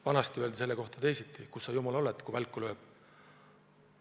Vanasti öeldi selle kohta teisiti: kus sa, jumal, oled, kui välku lööb?